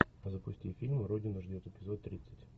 запусти фильм родина ждет эпизод тридцать